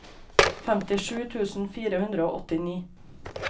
femtisju tusen fire hundre og åttini